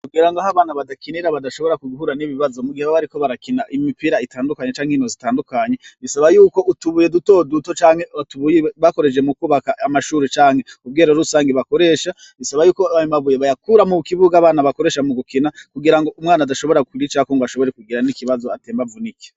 Kugira ngo aho abana badakinira badashobora kuguhuran'ibibazo mu gihe babariko barakina imipira itandukanye canke ino zitandukanye bisaba yuko utubuye dutoduto canke atubuy bakoreje mu kubaka amashuru canke ubwero rusange bakoresha bisaba yuko abemabuye bayakura mu kibuga abana bakoresha mu gukina kugira ngo umwana adashobora kwra icako ngo ashobore kugira n'ikibazo atembavu n'iki.